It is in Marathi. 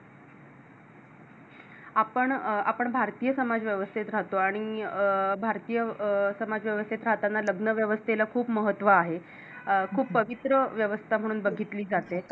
आपण अं आपण भारतीय समाज व्यवस्थेत राहतो आणि अं भारतीय अं आणि भारतीय समाज व्यवस्थेत राहताना लग्न व्यवस्थेला खूप महत्व आहे खूप पवित्र व्यवस्था म्हणून बघितली जाते